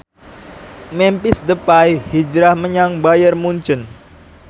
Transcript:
Memphis Depay hijrah menyang Bayern Munchen